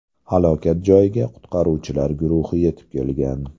Halokat joyiga qutqaruvchilar guruhi yetib kelgan.